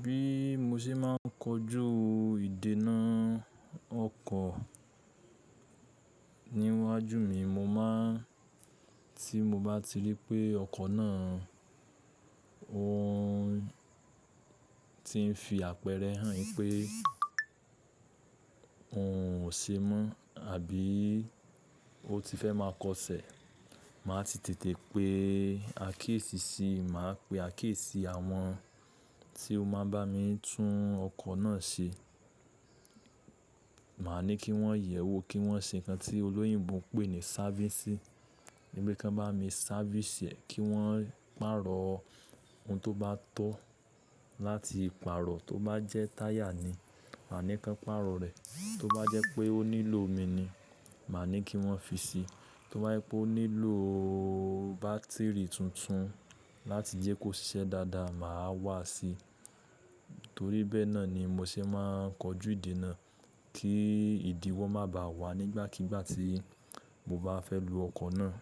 Bí mo ṣe máà ń kojú ìdènà ọkọ̀ níwájú mi, mo máà ń tí mo bá ti rí pé ọkọ̀ náà òhún ti ń fi àpẹrẹ hàn pé òun ò ṣe mọ́ àbí ó ti fẹ́ má a kọ ṣẹ̀. Mà á ti tètè pe akéyesì si, mà á pe akiyesì àwọn tí ó máa bá mi tún ọkọ̀ náà ṣe. Mà á ní kí wọ́n yẹ̀wò, kí wọ́n ṣe nǹkan tí olóyìnbo ń pè ní service i. Wípé kí wọ́n bá mi kan bá mi service ẹ̀, kí wọ́n pàrọ̀ ohun tó bá tọ́ láti pàrọ̀. Tó bá jẹ́ táyà ni, mà á ní kí wọ́n pàrọ̀ rẹ̀. Tó bá jẹ́ pé ó nílò omi ni, mà ní kí wọ́n fi síi. Tó bá jẹ́ pé ó nílò bátìrì tuntun láti jẹ́ kó ṣiṣẹ́ dáadáa, mà á wà síi. Torí bẹ́ẹ̀ náà ni mo ṣe máà ń kojú ìdènà kí ìdíwọ́ má bà á wà nígbàkigbà tí mo bá fẹ́ lo ọkọ̀ náà.